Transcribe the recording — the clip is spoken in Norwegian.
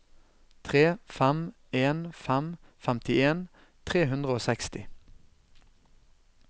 tre fem en fem femtien tre hundre og seksti